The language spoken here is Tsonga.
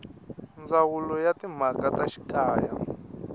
ndzawulo ya timhaka ta xikaya